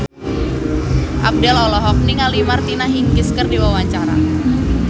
Abdel olohok ningali Martina Hingis keur diwawancara